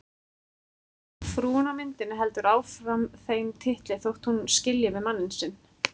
Frúin á myndinni heldur áfram þeim titli þótt hún skilji við mann sinn.